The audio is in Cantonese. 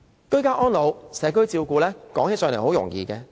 居家安老、社區照顧，說是很容易。